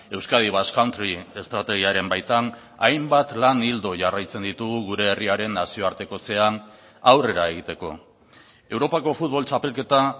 euskadi basque country estrategiaren baitan hainbat lan ildo jarraitzen ditugu gure herriaren nazioartekotzean aurrera egiteko europako futbol txapelketa